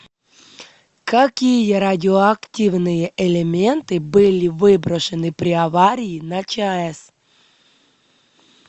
какие радиоактивные элементы были выброшены при аварии на чаэс